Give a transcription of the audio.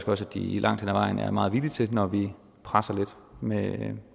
også de langt hen ad vejen er meget villige til når vi presser lidt med